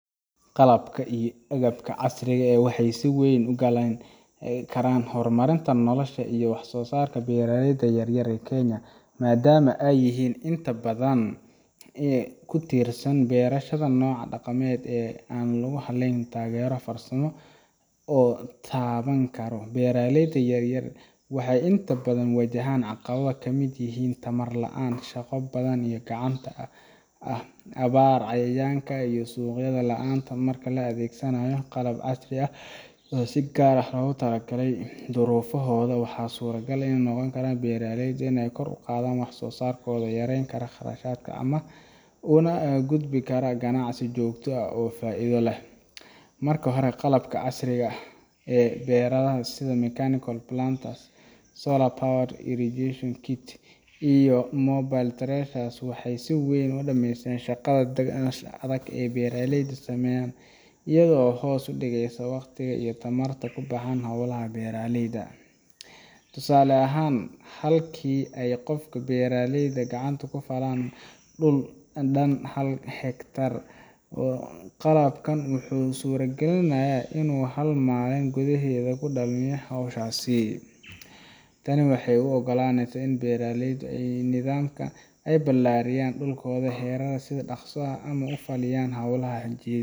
Qalabka iyo qalabka casirga waaxey siweyn ugalin kara hurmarinta nolosha iyo waax so saarka beeraleyda yaryar ee Kenya maadam ee yihin intaa badan ku tiirsan beerashadda noca daqamed ee an lagu halin karin taagero farsaamo oo taawan karo beeraleyaad yaryar waaxey intaa baadan waajahan caqaawada badan ka mid yiihin tawadaaro shaqo badan iyo gacanta ah aawar ayayanka iyo suqyadha laanta marka laa adeegsaanayo qalab caasriya ah oo sii gaara lagu talagale durofaahoda waaxa suragala in noqon kaaran beeraleyda kor uqaadan wax sosaarkoda yaren karan ama qaraashadka ama ugudbi karo ganacsi joogta ah oo faaiida leh marka hore qalabka casriiga ah beeraha sidha Mechanical Plants Solar Power Regisration Kit iyo mobel charge waaxey siweyn shaqadha adaag ee beeraleyda sameyan iyaago hoos udiigayo wakhtiiga iyo taamarta xolaha beeraleyda tusaale ahaan halkii ee qofka beeraleyda gacanta ku faalan dhulka daan hal higtaar oo qalabkan wuxu suragaalinaya in uu hal malin gudaahed kudaameyo hawshasi taani waaxey u ogolaaneysa in beeraleydo nidaamka ee bilaariyan dhulkodaa xiraha si daqsa ah ama ufaaliyan xolaha hajiiyad.